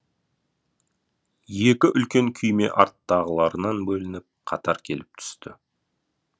екі үлкен күйме арттағыларынан бөлініп қатар келіп түсті